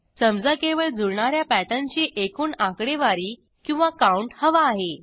समजा केवळ जुळणा या पॅटर्नची एकूण आकडेवारी किंवा काऊंट हवा आहे